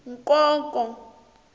nkonko